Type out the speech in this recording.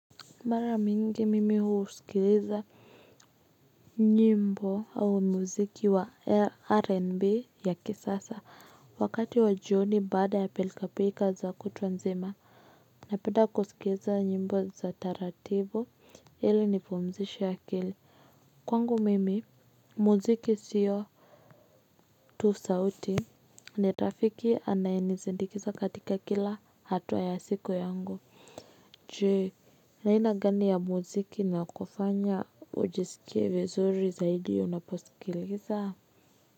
Mara mingi mimi husikiliza nyimbo au muziki wa rnb ya kisasa wakati wa jioni baada ya pilka pilka za kutwa nzima napenda kusikiliza nyimbo za taratibu hili nipumzishe akili kwangu mimi muziki siyo tu sauti ni taafiki anayenisindikiza katika kila hatua ya siku yangu je ni aina gani ya muziki inayo kufanya ujiskie vizuri zaidi unaposikiliza.